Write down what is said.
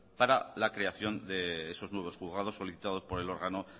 para la creación de esos nuevos juzgados solicitados por el órgano